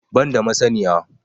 Ban da masaniya